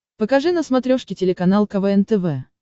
покажи на смотрешке телеканал квн тв